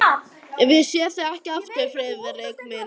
Ef ég sé þig ekki aftur, Friðrik minn.